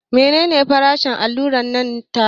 Mene ne farashin hular nan taka?